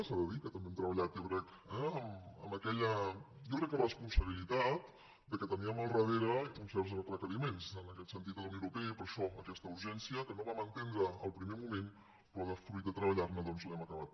s’ha de dir que també hem treballat jo crec eh amb aquella responsabilitat que teníem al darrere uns certs requeriments en aquest sentit de la unió europea i per això aquesta urgència que no vam entendre al primer moment però fruit de treballar la doncs l’hem acabat